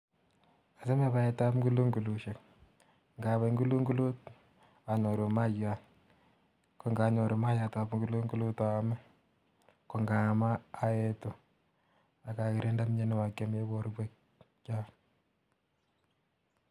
achame paet ap ngulungulushek. ngapai ngulungulut anyoru mayaiyat .ko nganyoru mayaiyat ap ngulungylut aame ko ngaam aetu aka kirinde mianwogik chemin poryek chechang.